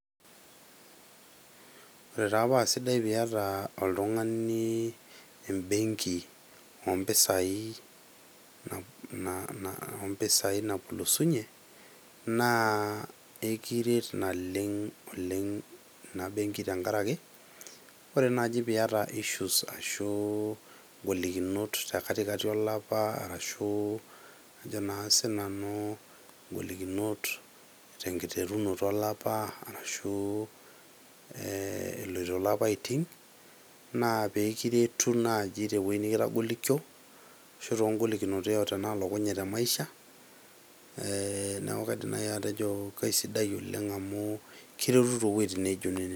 Ore taa paa sidai oltungani piata embenki ompisai ,ompisai napulusunye , naa ekiret ina benki naleng ina benki tenkaraki, ore naji piata issues ashu ngolikinot tekatikati alapa ashu ajo naa sinanu nkolikinot tenkiterunoto olapa arashu epoito ilapaitin naa peekiretu naji tewuei nikitagolikio ashu too ngolikinot yeyote nalokunye te maisha , ee niaku kaidim naji atejo kaisidai oleng amu kiretu too wuejitin naijo nenen.